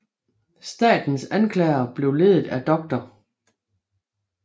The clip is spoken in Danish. Statens anklagere blev ledet af Dr